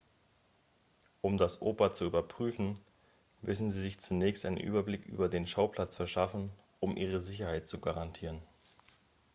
um das oper zu überprüfen müssen sie sich zunächst einen überblick über den schauplatz verschaffen um ihre sicherheit zu garantieren